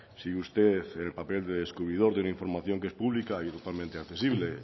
si usted el papel de descubridor de una información que es pública y totalmente accesible